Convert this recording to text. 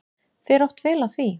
Fer oft vel á því.